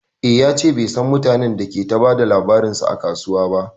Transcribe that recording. E, ya ce bai san mutanen da ke ta ba da labarinsa a kasuwan ba.